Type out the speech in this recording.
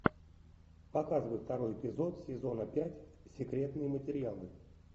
показывай второй эпизод сезона пять секретные материалы